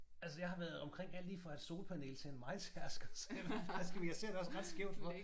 Altså jeg har været omkring alt lige fra et solpanel til en mejetærsker så jeg ved faktisk ikke men jeg ser det også ret skævt for